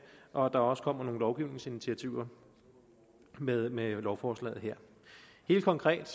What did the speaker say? og at der også kommer nogle lovgivningsinitiativer med med lovforslaget her helt konkret